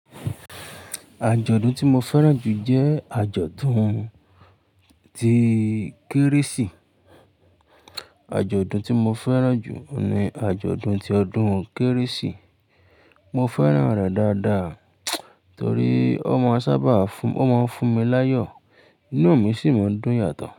Àjọ̀dún tí mo fẹ́ràn jù jẹ́ àjọ̀dún ti Kérésì. Àjọ̀dún tí mo fẹ́ràn jù ni àjọ̀dún ti ọdún Kérésì. Mo féràn rè dáadáa torí o máa funmi layọ, inú mí si máa dùn yato.